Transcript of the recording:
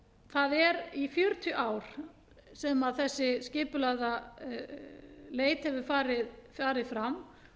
það er í fjörutíu ár sem þessi skipulagða leit hefur farið fram